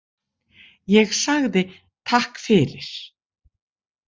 Ég sagði Takk fyrir.